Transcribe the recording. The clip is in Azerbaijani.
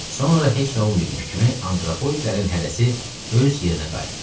Sonra heç nə olmayıbmış kimi antropoidlərin hərəsi öz yerinə qayıtdı.